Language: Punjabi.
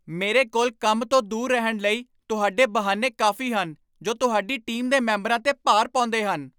ਮੇਰੇ ਕੋਲ ਕੰਮ ਤੋਂ ਦੂਰ ਰਹਿਣ ਲਈ ਤੁਹਾਡੇ ਬਹਾਨੇ ਕਾਫ਼ੀ ਹਨ ਜੋ ਤੁਹਾਡੀ ਟੀਮ ਦੇ ਮੈਂਬਰਾਂ 'ਤੇ ਭਾਰ ਪਾਉਂਦੇ ਹਨ।